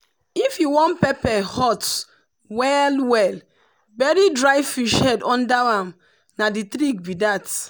if you wan pepper hot well-well bury dry fish head under am na the trick be that.